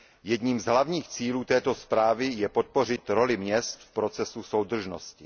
Jedním z hlavních cílů této zprávy je podpořit roli měst v procesu soudržnosti.